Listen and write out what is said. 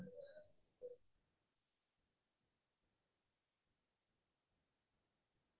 তাৰ পিছত আকৌ মই লক্ষ্মীনন্দন বৰাৰ কিতাপ পঢ়িও মই বহুত ভাল পাইছো